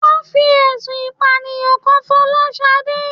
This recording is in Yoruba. Wón fi ẹ̀sùn ìpànìyàn kan Fọláṣadé